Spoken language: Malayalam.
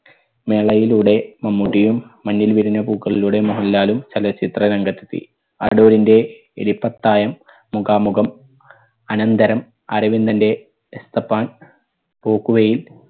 മേളയിലൂടെ മമ്മൂട്ടിയും മഞ്ഞിൽ വിരിഞ്ഞ പൂക്കളിലൂടെ മോഹൻലാലും ചലച്ചിത്ര രംഗത്തെത്തി. അടൂരിന്റെ എലിപ്പത്തായം മുഖാമുഖം അനന്തരം അരവിന്ദന്റെ എസ്തപ്പാൻ പോക്കുവെയിൽ